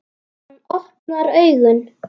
Hann opnar augun.